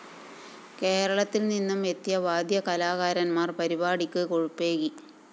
കേരളത്തില്‍ നിന്നും എത്തിയ വാദ്യ കലാകാരന്‍മാര്‍ പരിപാടിക്ക് കൊഴുപ്പേകി